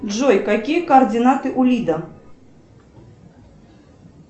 джой какие координаты у лида